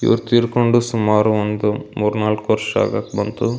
ಇವ್ರು ತೀರ್ಕೊಂಡು ಸುಮಾರು ಒಂದ ಮೂರೂ ನಾಲಕ್ ವರ್ಷ ಆಗಾಕ್ ಬಂತು .